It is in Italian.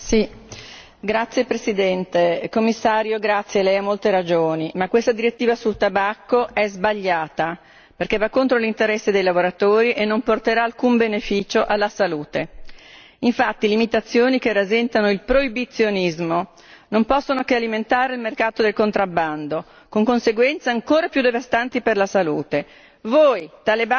Signor Presidente, onorevoli colleghi, signor Commissario Lei ha molte ragioni ma questa direttiva sul tabacco è sbagliata, perché va contro l'interesse dei lavoratori e non porterà alcun beneficio alla salute. Infatti, le imitazioni che rasentano il proibizionismo non possono che alimentare il mercato del contrabbando, con conseguenze ancora più devastanti per la salute.